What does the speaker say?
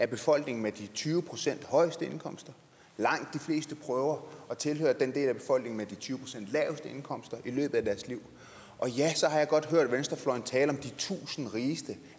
befolkningen med de tyve procent højeste indkomster langt de fleste prøver at tilhøre den del af befolkningen med de tyve procent laveste indkomster i løbet af deres liv og ja så har jeg godt hørt venstrefløjen tale om de tusind rigeste